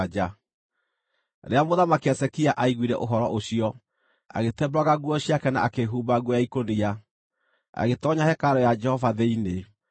Rĩrĩa Mũthamaki Hezekia aaiguire ũhoro ũcio, agĩtembũranga nguo ciake na akĩĩhumba nguo ya ikũnia, agĩtoonya hekarũ ya Jehova thĩinĩ.